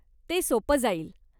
ते सोपं जाईल.